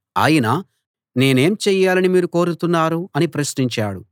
ఆయన నేనేం చెయ్యాలని మీరు కోరుతున్నారు అని ప్రశ్నించాడు